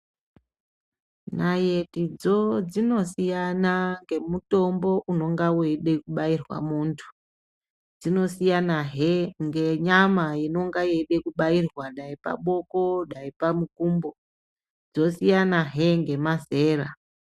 Nayetidzo dzinosiyana ngemutombo unonga veida kubairwa muntu. Dzinosiyanahe ngenyama inonga yeida kubairwa dai paboko dai pamukumbo, dzosiyanahe ngemazera.